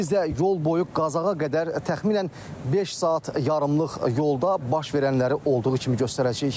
Biz də yol boyu Qazaxa qədər təxminən beş saat yarımlıq yolda baş verənləri olduğu kimi göstərəcəyik.